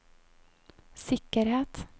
sikkerhet